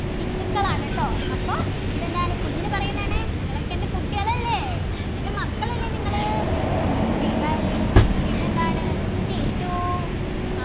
ശിശുക്കളാണ് ട്ടോ അപ്പോ ഇതെന്താണ് കുഞ്ഞിനെ പറയുന്നതാണ് നിങ്ങളൊക്കെ എൻ്റെ കുട്ടികളല്ലേ എൻ്റെ മക്കളല്ലേ നിങ്ങള് കുട്ടികൾ പിന്നെന്താണ് ശിശു അഹ്